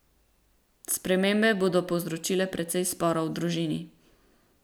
Spremembe bodo povzročile precej sporov v družini.